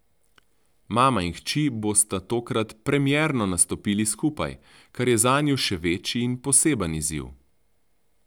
Mama in hči bosta tokrat premierno nastopili skupaj, kar je zanju še večji in poseben izziv.